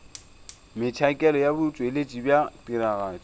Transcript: metšhakelo ya botšweletši bja tiragatšo